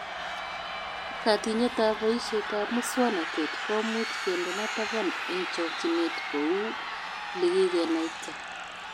Katinyetab boishetab muswonotet komuch kendena taban eng chochinet, kou likikenaita